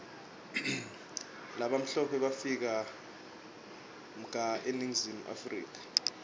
labamhlope bafika mga eningizimu africa